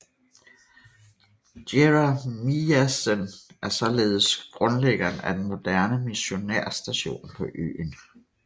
Jeremiassen er således grundlæggeren af den moderne missionærstation på øen